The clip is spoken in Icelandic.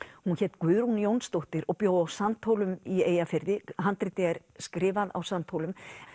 hún hét Guðrún Jónsdóttir og bjó á Sandhólum í Eyjafirði handritið er skrifað á Sandhólum